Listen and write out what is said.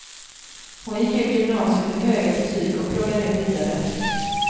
Hon gick ut gymnasiet med höga betyg och pluggar nu vidare.